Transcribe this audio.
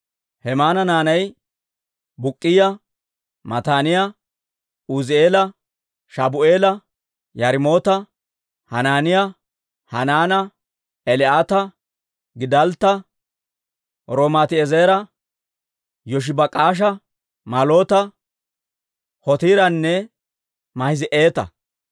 Hemaana naanay Buk'k'iyaa, Mataaniyaa, Uuzi'eela, Shabu'eela, Yaarimoota, Hanaaniyaa, Hanaana, Eli'aata, Giddaltta, Romamtti'eezera, Yoshibak'aasha, Malloota, Hotiiranne Maahizi'aata.